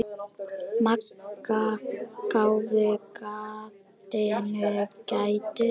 Magga gáfu gatinu gætur.